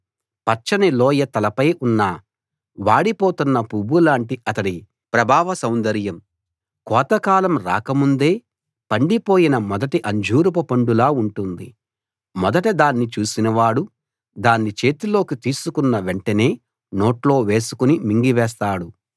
పచ్చని లోయ తలపై ఉన్న వాడిపోతున్న పువ్వులాంటి అతడి ప్రాభవ సౌందర్యం కోతకాలం రాకముందే పండిపోయిన మొదటి అంజూరపు పండులా ఉంటుంది మొదట దాన్ని చూసినవాడు దాన్ని చేతిలోకి తీసుకున్న వెంటనే నోట్లో వేసుకుని మింగివేస్తాడు